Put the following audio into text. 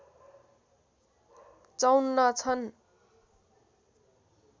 ५४ छन्